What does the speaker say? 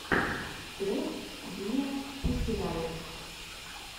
трек виапуссирайот